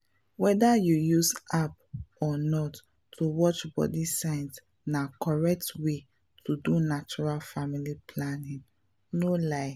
whether you use app or not to watch body signs na correct way to do natural family planning — no lie.